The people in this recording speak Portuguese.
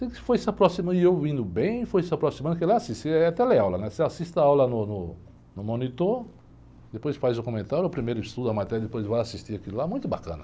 E eu indo bem, foi se aproximando, e eu indo bem, foi se aproximando, porque lá é tele aula, você assiste a aula no monitor, depois faz o comentário, ou primeiro estuda a matéria, depois vai assistir aquilo lá, muito bacana.